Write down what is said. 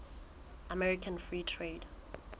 american free trade